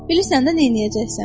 Bilirsən də neyləyəcəksən?